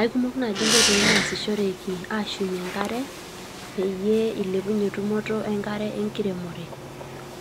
Eikumok naaji nkoitoi nasishoreki ashumie enkare peyie eilepunye tumoto enkare enkiremore